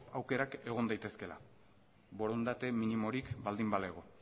aukera egon daitezkeela borondate minimorik baldin balego